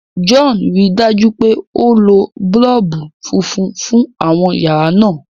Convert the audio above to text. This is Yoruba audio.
John ríi dájú pé o ló boolubu fúnfún fún àwọn yàrá náa.